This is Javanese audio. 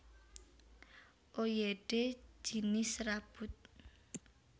Oyodé jinis serabut